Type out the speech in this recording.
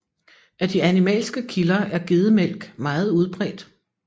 Af de animalske kilder er gedemælk meget udbredt